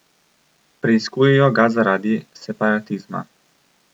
Preiskujejo ga zaradi separatizma.